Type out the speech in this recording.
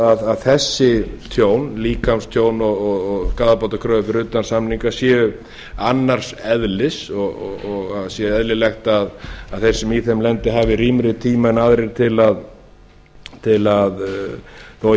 að þessi tjón líkamstjón og skaðabótakröfur fyrir utan samninga séu annars eðlis og það sé eðlilegt að þeir sem í þeim lenda hafi rýmri tíma heldur en aðrir til að þó hér sé